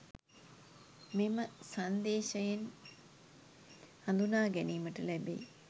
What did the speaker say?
මෙම සන්දේශයෙන් හඳුනා ගැනීමට ලැබෙයි.